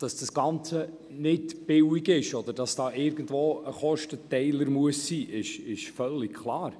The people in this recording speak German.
Dass dabei ein Kostenteiler bestehen muss, ist völlig klar.